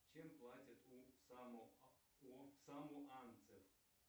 чем платят у самоанцев